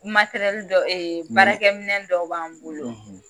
K'u dɔw, baarakɛminɛw dɔw b'an bolo;